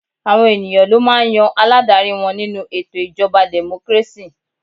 Àwọn ènìyàn ló máà ń yan aládarí wọn nínú ètò ìjọba democracy.